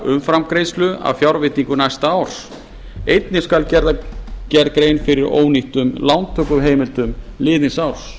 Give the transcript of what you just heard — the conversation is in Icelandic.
umframgreiðslu af fjárveitingu næsta árs einnig skal gerð grein fyrir ónýttum lántökuheimildum liðins árs